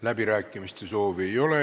Läbirääkimiste soovi ei ole.